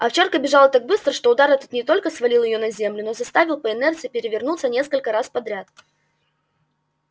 овчарка бежала так быстро что удар этот не только свалил её на землю но заставил по инерции перевернуться несколько раз подряд